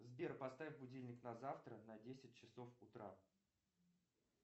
сбер поставь будильник на завтра на десять часов утра